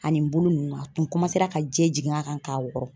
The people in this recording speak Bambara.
Ani n bolo ninnu a tun ka jɛ jig'a kan k'a wɔrɔ.